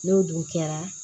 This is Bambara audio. N'o dun kɛra